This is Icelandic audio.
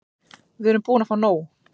Við erum búin að fá nóg.